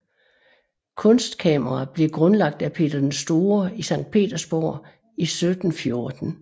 Kunstkamera blev grundlagt af Peter den Store i Sankt Petersborg i 1714